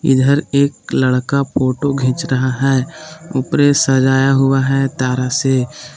इधर एक लड़का फोटो खींच रहा है ऊपरे सजाया हुआ है तारा से।